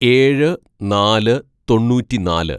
"ഏഴ് നാല് തൊണ്ണൂറ്റിനാല്‌